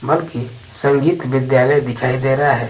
बल्कि संगीत विद्यालय दिखाई दे रहा है।